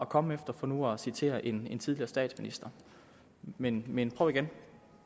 komme efter for nu at citere en tidligere statsminister men men prøv igen